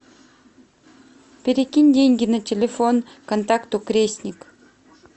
перекинь деньги на телефон контакту крестник